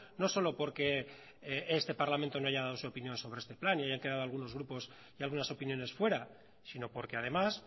no solo porque este parlamento no haya dado su opinión sobre este plan y hayan quedado algunos grupos y algunas opiniones fuera sino porque además